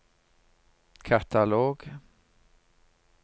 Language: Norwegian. katalog